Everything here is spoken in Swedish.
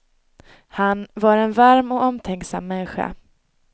Han var en varm och omtänksam människa.